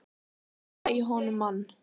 Sjóða í honum mann!